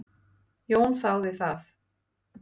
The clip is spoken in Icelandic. Jón þáði það.